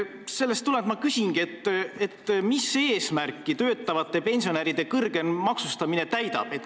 Sellest tulenevalt ma küsingi, mis eesmärki töötavate pensionäride kõrgem maksustamine täidab.